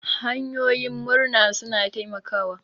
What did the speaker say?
Hanyoyin murna suna taimakawa.